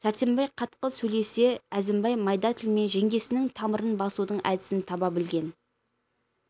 сәрсенбай қатқыл сөйлесе әзімбай майда тілімен жеңгесінің тамырын басудың әдісін таба білген